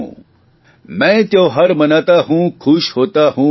मैं त्योहार मनाता हुं खुश होता हुं मुस्कुराता हुं